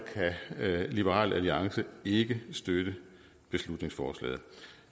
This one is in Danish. kan liberal alliance ikke støtte beslutningsforslaget